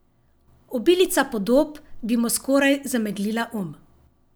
Obilica podob bi mu skoraj zameglila um.